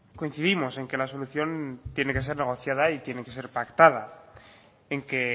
coincidimos en que la solución tiene que ser negociada y tiene que ser pactada en que